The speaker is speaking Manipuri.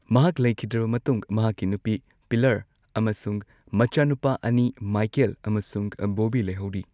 ꯃꯍꯥꯛ ꯂꯩꯈꯤꯗ꯭ꯔꯕ ꯃꯇꯨꯡ ꯃꯍꯥꯛꯀꯤ ꯅꯨꯄꯤ ꯄꯤꯂꯔ ꯑꯃꯁꯨꯡ ꯃꯆꯥꯅꯨꯄꯥ ꯑꯅꯤ, ꯃꯥꯢꯀꯦꯜ ꯑꯃꯁꯨꯡ ꯕꯣꯕꯤ ꯂꯩꯍꯧꯔꯤ꯫